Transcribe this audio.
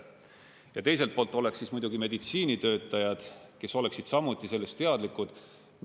Ja teiselt poolt oleks muidugi meditsiinitöötajad, kes oleksid samuti sellest teadlikud.